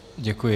Děkuji.